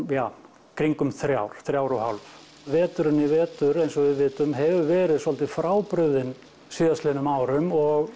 ja kringum þrjár þrjár og hálf veturinn í vetur eins og við vitum hefur verið svolítið frábrugðinn síðastliðnum árum og